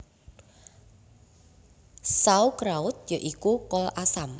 Sauerkraut ya iku kol asam